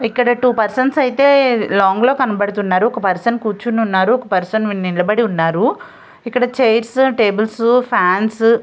ఇక్కడ two persons అయితే long లో కనపడుతున్నారు. ఒక్క పర్సన్ కూర్చుని ఉన్నారు. ఒక్క పర్సన్ నిలబడి ఉన్నారు. ఇక్కడ చైర్స్ టేబుల్స్ ఫాన్స్ --